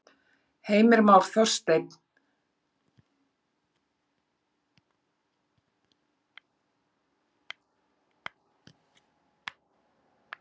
Heimir Már: Þorsteinn, segðu okkur aðeins, hvað verður gert hérna nákvæmlega fyrir aftan okkur?